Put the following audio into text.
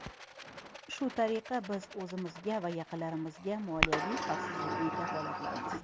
Shu tariqa, biz o‘zimizga va yaqinlarimizga moliyaviy xavfsizlikni kafolatlaymiz.